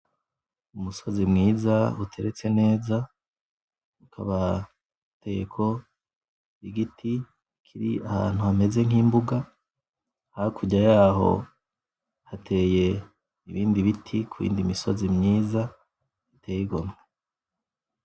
Umusozi mwiza uteretse neza, hakaba hateyeko igiti kiri ahantu hameze nkimbuga hakurya yaho hateye ibindi biti kuyindi misozi myiza iteye igomwe.